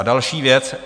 A další věc.